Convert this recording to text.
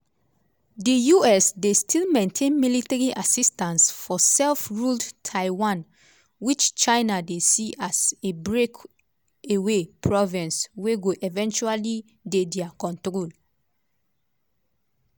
di us dey still maintain military assistance for self-ruled taiwan which china dey see as a breakaway province wey go eventually dey dia control.